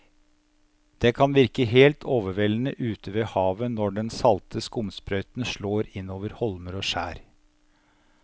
Det kan virke helt overveldende ute ved havet når den salte skumsprøyten slår innover holmer og skjær.